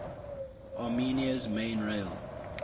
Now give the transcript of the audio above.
armenia's main rail